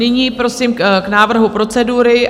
Nyní prosím k návrhu procedury.